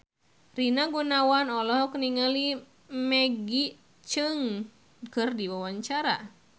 Rina Gunawan olohok ningali Maggie Cheung keur diwawancara